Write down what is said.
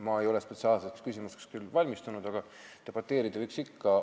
Ma ei ole spetsiaalselt selleks küsimuseks küll valmistunud, aga debateerida võib ikka.